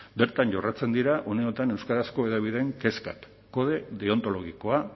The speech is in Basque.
bertan jorratzen dira uneotan euskarazko hedabideen kezkak kode deontologikoa